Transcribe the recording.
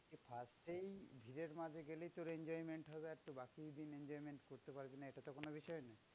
আর সেই ভিড়ের মাঝে গেলেই তোর enjoyment হবে। একটু বাকি দিন enjoyment করতে পারবি না এটা তো কোনো বিষয় নয়।